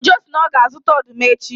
Ojo sị na ya ga-azụta ọdụm echi